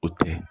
O tɛ